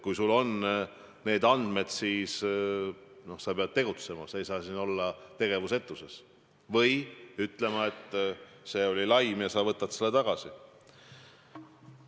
Kui sul on neid andmeid, siis sa pead tegutsema, sa ei saa olla tegevusetuses, või siis pead ütlema, et see oli laim ja sa võtad need sõnad tagasi.